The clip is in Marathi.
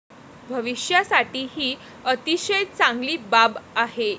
भविष्यासाठी ही अतिशय चांगली बाब आहे.